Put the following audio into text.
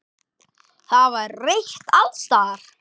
Það var reykt alls staðar.